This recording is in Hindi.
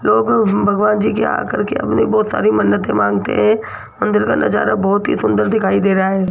लोगों भगवान जी के आ करके हमने बहोत सारी मन्नतें मांगते हैं मंदिर का नजारा बहोत ही सुंदर दिखाई दे रहा है।